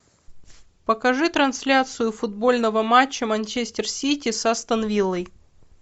покажи трансляцию футбольного матча манчестер сити с астон виллой